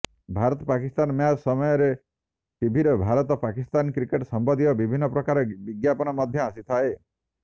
Bharat Pakistan match ସମୟରେ ଟିଭିରେ Bharat Pakistan cricket ସମ୍ବନ୍ଧୀୟ ବିଭିନ୍ନ ପ୍ରକାର ବିଜ୍ଞାପନ ମଧ୍ୟ ଆସିଥାଏ